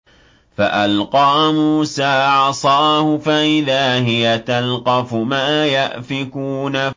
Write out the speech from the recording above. فَأَلْقَىٰ مُوسَىٰ عَصَاهُ فَإِذَا هِيَ تَلْقَفُ مَا يَأْفِكُونَ